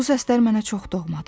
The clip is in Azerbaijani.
Bu səslər mənə çox doğmadır.